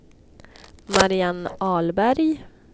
Mariann Ahlberg